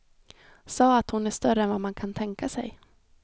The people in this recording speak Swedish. Sa att hon är större än vad man kan tänka sig.